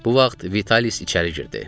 Bu vaxt Vitalis içəri girdi.